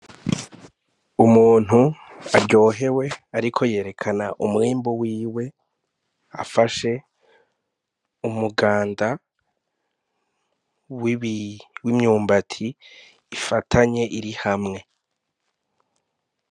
Umuntu aryohewe ariko yerekana umwimbu wiwe, afashe umuganda w'imyumbati ifatanye iri hamwe.